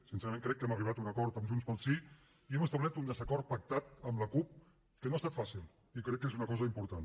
sincerament crec que hem arribat a un acord amb junts pel sí i hem establert un desacord pactat amb la cup que no ha estat fàcil i crec que és una cosa important